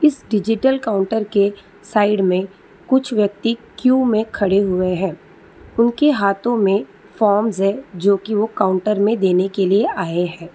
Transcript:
उस digital counter के side में कुछ व्यक्ति क्यू में खड़े हुए है उनके हाथों में फॉर्म्स है जो की वो काउंटर में देने के लिए आए है।